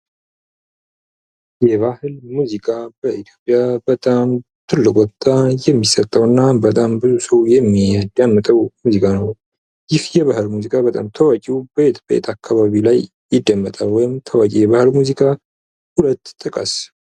የባህል ሙዚቃ በኢትዮጵያ በጣም ትልቅ ቦታ የሚሰጠውና በጣም ብዙ ሰው የሚያዳምጠው ሙዚቃ ነው። ይህ የባህል ሙዚቃ በጣም ታዋቂው ቤት ቤት አካባቢ ላይ ይደመጣል ወይም ታዋቂ ሙዚቃ ሁለት ጥቀስ።